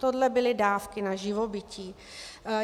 Tohle byly dávky na živobytí.